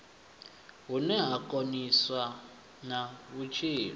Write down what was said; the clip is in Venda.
vhune ha konisa na vhutshilo